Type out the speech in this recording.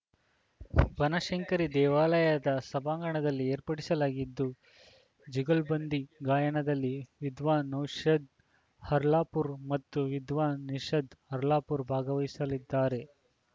ಬನಶಂಕರಿ ದೇವಾಲಯದ ಸಭಾಂಗಣದಲ್ಲಿ ಏರ್ಪಡಿಸಲಾಗಿದ್ದು ಜುಗಲ್ಬಂದಿ ಗಾಯನದಲ್ಲಿ ವಿದ್ವಾನ ನೌಶಾದ್‌ ಹರ್ಲಾಪುರ್‌ಮತ್ತು ವಿದ್ವಾನ ನಿಶಾದ್‌ ಹರ್ಲಾಪುರ್‌ ಭಾಗವಹಿಸಲಿದ್ದಾರೆ